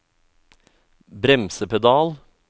bremsepedal